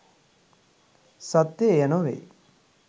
සත්‍ය එය නොවේ.